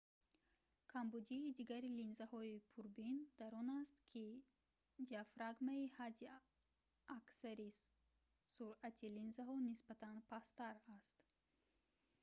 камбудии дигари линзаҳои пурбин дар он аст ки диагфрагмаи ҳадди аксари суръат-и линзаҳо нисбатан пасттар аст